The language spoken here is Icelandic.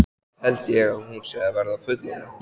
Samt held ég að hún sé að verða fullorðin.